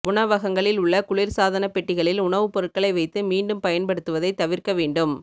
உணவகங்களில் உள்ள குளிர்சாதனப் பெட்டிகளில் உணவுப்பொருட்களை வைத்து மீண்டும் பயன்படுத்துவதை தவிர்க்க வேண்டும்